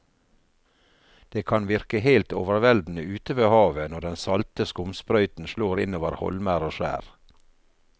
Det kan virke helt overveldende ute ved havet når den salte skumsprøyten slår innover holmer og skjær.